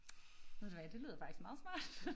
Ved du hvad det lyder faktisk meget smart